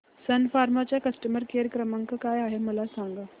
सन Pharma चा customer care क्रमांक काय आहे मला सांगा